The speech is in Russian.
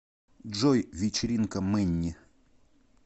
джой вечеринка мэнни